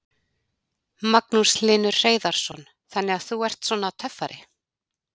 Magnús Hlynur Hreiðarsson: Þannig þú ert svona töffari?